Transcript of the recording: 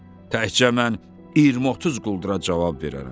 Təkcə mən 20-30 quldura cavab verərəm.